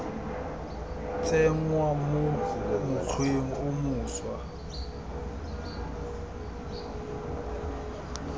tsenngwa mo mokgweng o mošwa